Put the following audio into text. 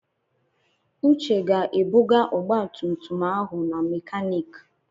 Uche ga-ebuga ọgba tum tum ahụ na makaniki.